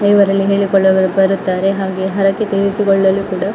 ಇವರೆಲ್ಲಾ ನೀಲಿ ಕಲ್ಲುಗಳು ಬರುತ್ತಾರೆ ಹಾಗೆ ಹರಕೆ ತಿನಿಸುಗಳಲ್ಲಿ ಕೂಡ--